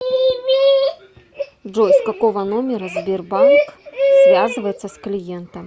джой с какого номера сбербанк связывается с клиентом